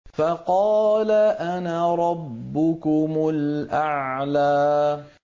فَقَالَ أَنَا رَبُّكُمُ الْأَعْلَىٰ